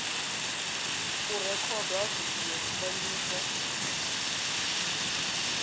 u rekhodwa ha vidio zwifanyiso